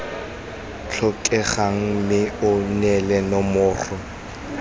tlhokegang mme o neele nomoro